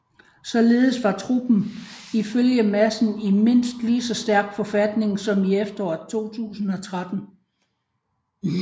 Således var truppen ifølge Madsen i mindst ligeså stærk forfatning som i efteråret 2013